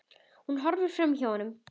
Hún horfir framhjá honum.